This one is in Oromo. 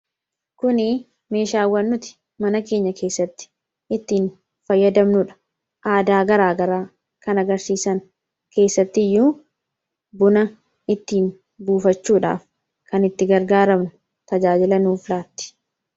Kuni meeshaawwannoti mana keenya keessatti ittiin fayyadamnuudha aadaa garaa garaa kan agarsiisan keessatti iyyuu buna ittiin buufachuudhaaf kan itti gargaaramnu tajaajilanuuf laatti.